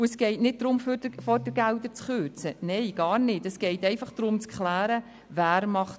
Es geht nicht darum, Fördergelder zu kürzen, nein gar nicht, es geht einfach darum, zu klären, wer was macht.